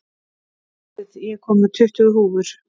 Edith, ég kom með tuttugu húfur!